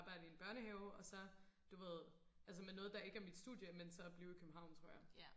arbejde i en børnehave og så du ved altså med noget der ikke er mit studie men så blive i København tror jeg